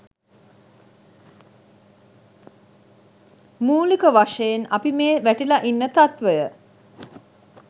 මූලික වශයෙන් අපි මේ වැටිලා ඉන්න තත්ත්වය